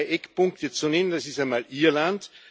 Da sind zwei Eckpunkte zu nennen Das ist einmal Irland.